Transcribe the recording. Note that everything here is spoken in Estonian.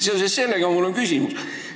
Seoses sellega on mul küsimus.